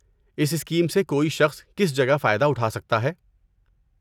اس scheme سے کوئی شخص کس جگہ فائدہ اٹھا سکتا ہے؟